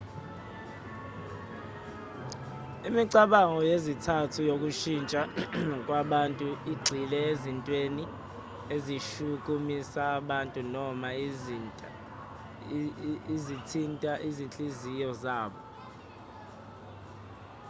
imicabango yezizathu zokushintsha kwabantu igxile ezintweni ezishukumisa abantu noma ezithinta izinhliziyo zabo